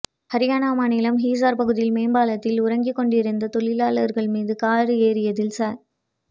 அரியானா மாநிலம் ஹிசார் பகுதியில் மேம்பாலத்தில் உறங்கிக்கொண்டிருந்த தொழிலாளர்கள் மீது கார் ஏறியதில் ச